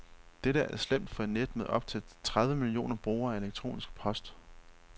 Dette er slemt for et net med op til tredive millioner brugere af elektronisk post.